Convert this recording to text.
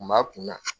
Kun b'a kunna